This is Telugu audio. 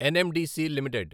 NMDC limited